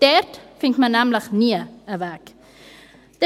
Dort findet man nämlich nie einen Weg.